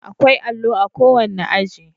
Akwai allo a kowane aji